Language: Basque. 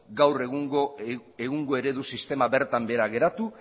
gaur egungo eredu sistema bertan behera geratu